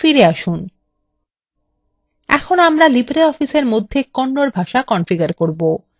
এখন আমরা libreoffice এর মধ্যে kannada ভাষা configure করব